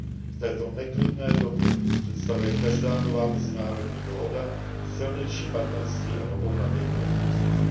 V této neklidné době představuje každá nová mezinárodní dohoda silnější partnerství a novou naději pro budoucnost.